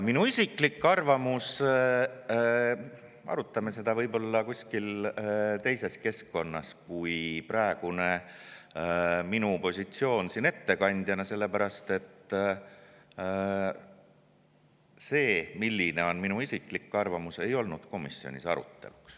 Minu isiklikku arvamust arutame võib-olla kuskil teises keskkonnas kui siin, kus minu praegune positsioon on ettekandja, sellepärast et see, milline on minu isiklik arvamus, ei olnud komisjonis arutelul.